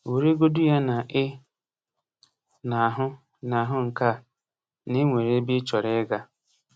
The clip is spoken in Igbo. Weregodu ya na ị na-ahụ na-ahụ nke a: na e nwere ebe ị chọrọ ịga.